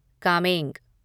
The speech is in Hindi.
कामेंग